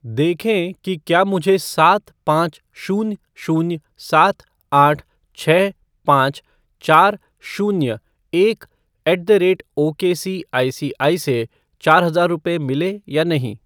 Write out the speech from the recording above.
देखें कि क्या मुझे सात पाँच शून्य शून्य सात आठ छः पाँच चार शून्य एक ऐट द रेट ओकेसीआईसीआई से चार हज़ार रुपये मिले या नहीं ।